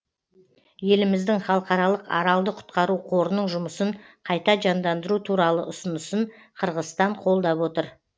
еліміздің халықаралық аралды құтқару қорының жұмысын қайта жандандыру туралы ұсынысын қырғызстан қолдап отыр